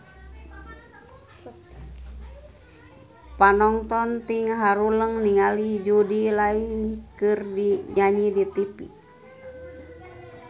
Panonton ting haruleng ningali Jude Law keur nyanyi di tipi